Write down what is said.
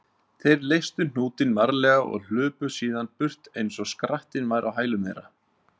Þeir leystu hnútinn varlega og hlupu síðan burt eins og skrattinn væri á hælum þeirra.